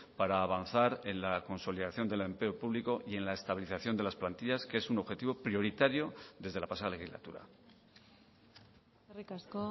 para avanzar en la consolidación del empleo público y en la estabilización de las plantillas que es un objetivo prioritario desde la pasada legislatura eskerrik asko